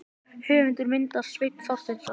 Höfundur myndar: Sveinn Þorsteinsson.